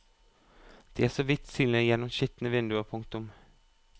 De er så vidt synlige gjennom skitne vinduer. punktum